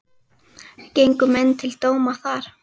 Gengu menn til dóma þar.